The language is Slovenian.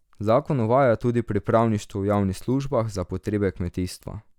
Zakon uvaja tudi pripravništvo v javnih službah za potrebe kmetijstva.